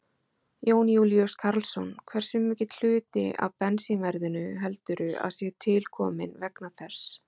Jón Júlíus Karlsson: Hversu mikill hluti af bensínverðinu heldur að sé til komin vegna þess?